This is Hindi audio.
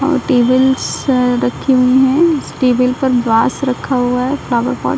औ टेबल्स रखी हुई है इस टेबल पर बास रखा हुआ है फ्लावर पॉट ।